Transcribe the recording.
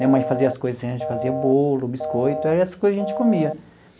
Minha mãe fazia as coisas assim, a gente fazia bolo, biscoito, era essas coisas que a gente comia.